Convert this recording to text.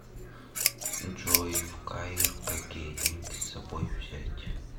джой в каир какие деньги с собой взять